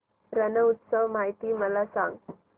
रण उत्सव माहिती मला सांग